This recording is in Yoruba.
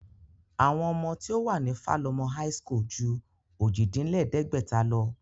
Àwọn ọmọ tí ó wà ní Falomo high school ju ojì-dín-lẹ̀ẹ́dẹ́gbẹ̀ta lọ